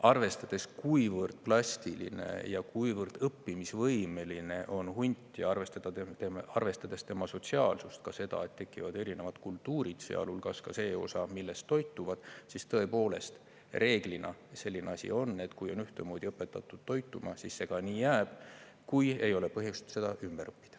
Arvestades, kuivõrd plastiline ja kuivõrd õppimisvõimeline on hunt, ja arvestades tema sotsiaalsust, ka seda, et tekivad erinevad kultuurid, sealhulgas ka see osa, millest nad toituvad, siis tõepoolest, reeglina selline asi on, et kui on ühtemoodi õpetatud toituma, siis see ka nii jääb, kui ei ole põhjust ümber õppida.